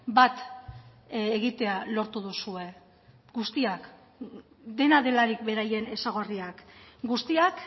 bat egitea lortu duzue guztiak dena delarik beraien ezaugarriak guztiak